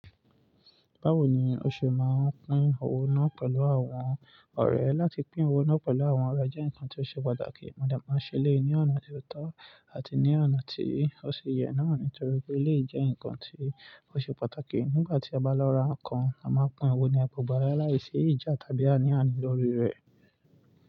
Báwo ni o ṣe máa ń pín owó náà pẹ̀lú àwọn ọ̀rẹ́? Láti pín owó náà pẹ̀lú àwọn ọ̀rẹ́ jẹ́ nǹkan ti ó ṣe pàtàkì. Mo dẹ̀ máa ń ṣe eléyìí ní ọ̀nà ti ó tọ́ àti ní ọ̀nà tí ó sì yẹ náà nítorí pé eléyìí jẹ́ ǹkan tí ó ṣe pàtàkì nígbà tí a bá lọ ra nǹkan, a máa n pín owó ní agbọ̀gbárẹ́ láìsí ìjà tàbí àní àní lórí rẹ̀.